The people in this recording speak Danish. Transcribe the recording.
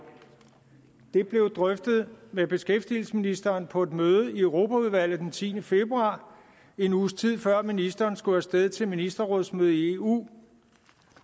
det blev drøftet med beskæftigelsesministeren på et møde i europaudvalget den tiende februar en uges tid før ministeren skulle af sted til ministerrådsmøde i eu